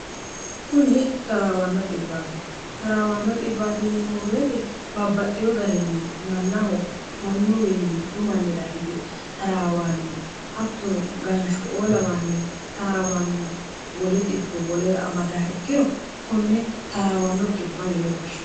kuni taraawanno 1bti taraawanno nmoweeti babbaxxiyo garinni mannaho mannuwiinni dhumannira hige taraawaanni hattunu ganshu oo lawanni taraawanni wowoe amadah ikkiro kunni taraawanno b yine goshshie